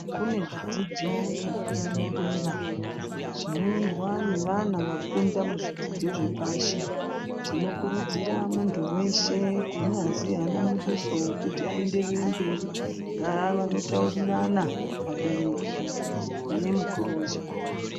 Kune zvidzidzo zvepadera dera zvinoendwa nevana vakunda muzvidzidzo zvepashi. Tinokurudzira muntu weshe kunyazi anamuduso kuti ayenderere mberi ngavanotaurirana vabereki nemukuru wechikoro.